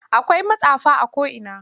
Akwai matsafa a ko'ina.